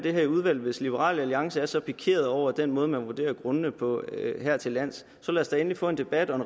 det her i udvalget hvis liberal alliance er så pikeret over den måde man vurderer grundene på hertillands så lad os da endelig få en debat om